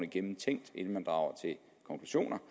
gennemtænkt inden man drager konklusioner